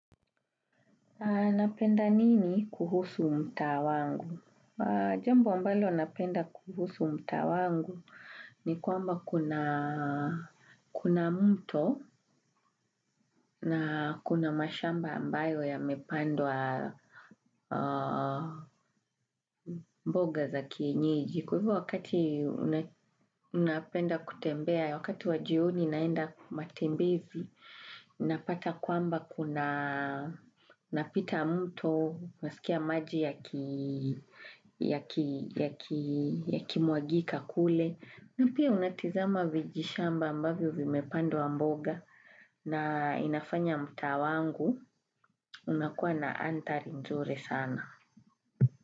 Napenda nini kuhusu mtaa wangu? Jambo ambalo napenda kuhusu mtaa wangu ni kwamba kuna mto na kuna mashamba ambayo ya mepandwa mboga za kienyeji. Kwa hivyo wakati unapenda kutembea, wakati wajioni naenda matembezi, inapata kwamba kuna napita mto nasikia maji yaki muagika kule. Na pia unatizama vijishamba ambavyo vimepandwa mboga na inafanya mtaa wangu unakuwa na antari nzuri sana.